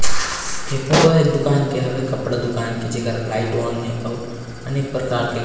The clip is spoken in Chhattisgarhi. ऐ फोटो है एक दुकान के हवे जेकर लाइट ऑन है और अनेक प्रकार के--